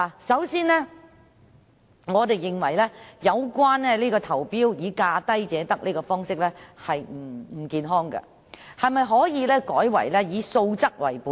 首先，我們認為價低者得的招標方式並不健康，可否改為以素質為本？